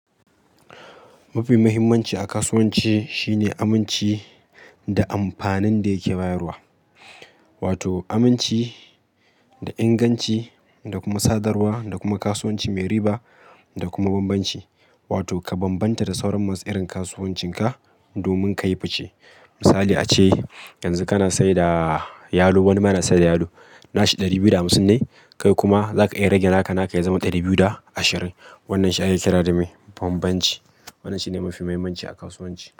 Mafi muhimmanci a kasuwanci shine aminci da amfanin da yake bayarwa. Wato aminci da inganci da kuma sadarwa da kuma kasuwanci mai riba da kuma bambanci. Wato ka bambanta da sauran masu irin kasuwancinka domin ka yi fice. Misali ace, yanzu kana saida yalo, wani kuma yana saida yalo. Nashi ɗari biyu da hamsin ne, kai kuma za ka iya rage naka naka ya zama ɗari biyu da ashirin. Wannan shi ake kira da me? Bambanci. Wannan shine mafi muhimmanci a kasuwanci.